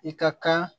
I ka kan